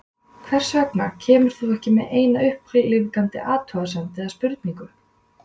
Hvers vegna kemur þú ekki með eina upplífgandi athugasemd eða spurningu?